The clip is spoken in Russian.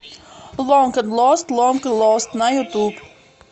лонг энд лост лонг и лост на ютуб